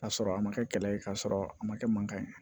K'a sɔrɔ a ma kɛ kɛlɛ ye k'a sɔrɔ a ma kɛ mankan ye